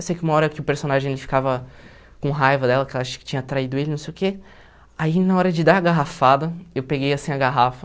Eu sei que uma hora que o personagem ficava com raiva dela, que ela acho que tinha traído ele, não sei o quê, aí na hora de dar a garrafada, eu peguei assim a garrafa,